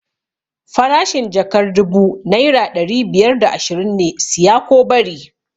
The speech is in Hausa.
Farashin jakar dubu naira ɗari biyar da ashirin ne, siya ko bari!